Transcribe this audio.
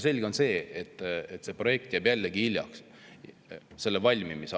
Selge on see, et selle projekti valmimine jääb jällegi hiljaks.